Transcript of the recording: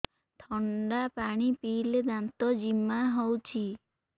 ଥଣ୍ଡା ପାଣି ପିଇଲେ ଦାନ୍ତ ଜିମା ହଉଚି